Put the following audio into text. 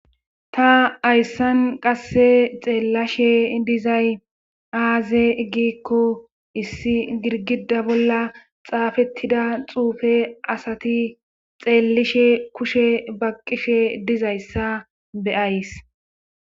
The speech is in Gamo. ta hayssan qasse xeellashe dizay aaze iggikko issi girgida bolla xaafettida xuufe asati xeellishe kushe baqqishe dizayssa beyays